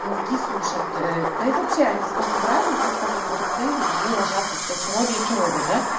мозги сушат да и вообще они с каждым разом да с каждым употреблением они ложатся все херовее и херовее да